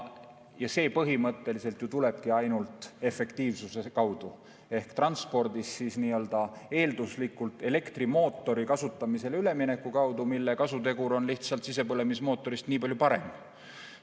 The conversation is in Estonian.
See põhimõtteliselt tulebki ainult tänu efektiivsusele ehk transpordis eelduslikult minnes üle elektrimootoritele, mille kasutegur on sisepõlemismootori omast nii palju parem.